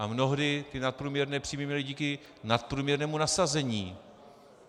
A mnohdy ty nadprůměrné příjmy měli díky nadprůměrnému nasazení.